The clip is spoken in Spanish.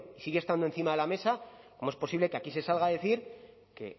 sigue estando encima de la mesa cómo es posible que aquí se salga a decir que